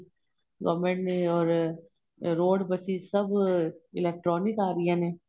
government ਨੇ ਔਰ road buses ਸਭ electronic ਆਂ ਰਹੀਆਂ ਨੇ